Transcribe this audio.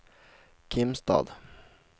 Kimstad